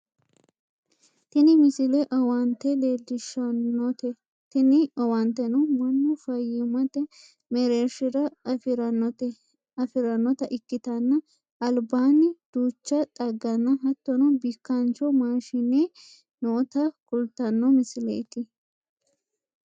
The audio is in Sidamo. tini misile owaante leellishshanote tini owaanteno mannu fayyimate mereershira afirannota ikkitanna albaanni duucha xagganna hattono bikkaancho maashine noota kultanno misileeti